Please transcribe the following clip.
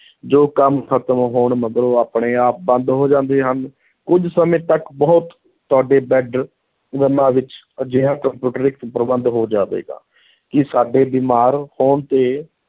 ਜੋ ਕੰਮ ਖ਼ਤਮ ਹੋਣ ਮਗਰੋਂ ਆਪਣੇ ਆਪ ਬੰਦ ਹੋ ਜਾਂਦੇ ਹਨ, ਕੁੱਝ ਸਮੇਂ ਤਕ ਬਹੁਤ ਤੁਹਾਡੇ ਬੈਡਰੂਮਾਂ ਵਿੱਚ ਅਜਿਹਾ ਪ੍ਰਬੰਧ ਹੋ ਜਾਵੇਗਾ ਕਿ ਸਾਡੇ ਬਿਮਾਰ ਹੋਣ ਤੇ